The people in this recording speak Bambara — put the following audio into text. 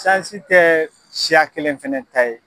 Sansi tɛ siya kelen fɛnɛ ta ye.